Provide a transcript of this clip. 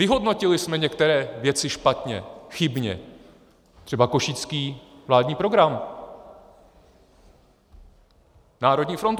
Vyhodnotili jsme některé věci špatně, chybně, třeba Košický vládní program, Národní frontu.